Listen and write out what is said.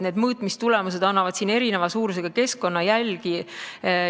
Mõõtmistulemused näitavad eri suurusega keskkonnajälgi.